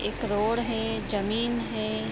एक रोड है जमीन है।